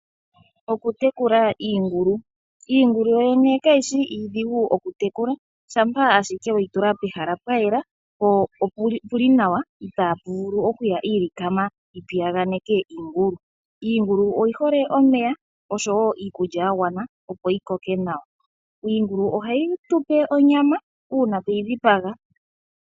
Okutekula iingulu, iingulu yoyene kayi shi iidhigu okutekulwa shampa ashike weyi tula pehala pwa yela po opuli nawa i taapu vulu okuya iilikama yi pi yaganeke iingulu. Iingulu oyi hole omeya osho woo iikulya yagwana opo yi koke nawa. Iingulu ohayi tupe onyama uuna tweyi dhipaga.